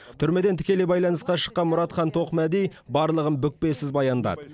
түрмеден тікелей байланысқа шыққан мұратхан тоқмәди барлығын бүкпесіз баяндады